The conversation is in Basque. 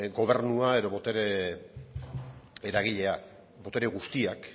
gobernua edo botere eragilea botere guztiak